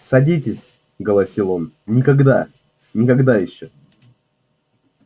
садитесь голосил он никогда никогда ещё